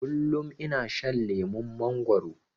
Kullum ina shan lemon mangwaro